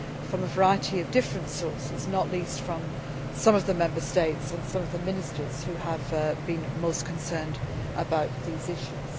from a variety of different sources, not least from some of the Member States and some of the ministers who have been most concerned about these issues.